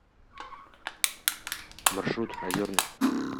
маршрут озерный